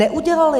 Neudělali!